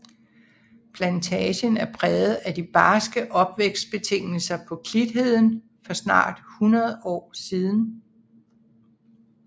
Plantagen er præget af de barske opvækstbetingelser på klitheden for snart 100 år siden